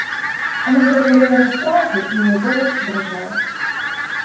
она заговорила не сразу и её голос дрожал